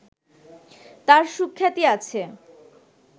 তাঁর সুখ্যাতি আছে